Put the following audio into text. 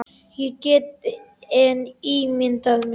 Ég get enn ímyndað mér!